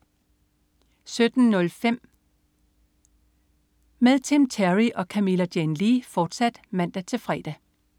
17.05 P3 med Tim Terry og Camilla Jane Lea, fortsat (man-fre)